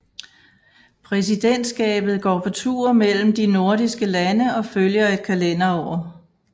Præsidentskabet går på tur mellem de nordiske lande og følger et kalenderår